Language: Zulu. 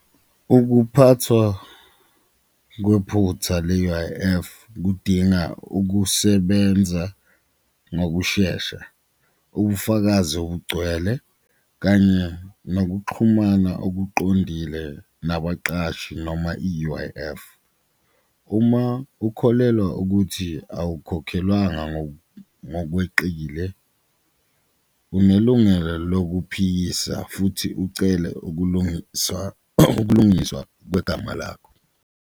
Ukuphathwa kwephutha le-U_I_F kudinga ukusebenza ngokushesha, ubufakazi obugcwele kanye nokuxhumana okuqondile nabaqashi noma i-U_I_F. Uma ukholelwa ukuthi awukhokhelanga ngokweqile, unelungelo lokuphikisa futhi ucele ukulungiswa ukulungiswa kwegama lakho.